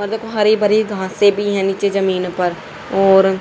मतलब हरी भरी घासें भी है नीचे जमीन पर और --